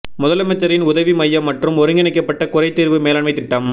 முதலமைச்சரின் உதவி மையம் மற்றும் ஒருங்கிணைக்கப்பட்ட குறை தீர்வு மேலாண்மை திட்டம்